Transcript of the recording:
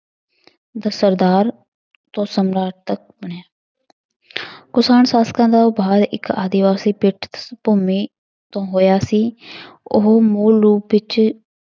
ਦਾ ਸਰਦਾਰ ਬਣਿਆ ਕੁਸ਼ਾਣ ਸ਼ਾਸ਼ਕਿਆਂ ਦਾ ਉਭਾਰ ਇੱਕ ਆਦਿਵਾਸੀ ਪਿੱਠ ਭੂਮੀ ਤੋਂ ਹੋਇਆ ਸੀ ਉਹ ਮੂਲ ਰੂਪ ਵਿੱਚ